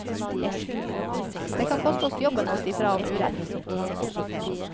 Det kan koste oss jobben å si fra om urett.